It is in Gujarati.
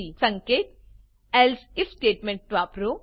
સંકેત else આઇએફ સ્ટેટમેંટ વાપરો